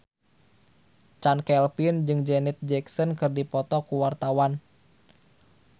Chand Kelvin jeung Janet Jackson keur dipoto ku wartawan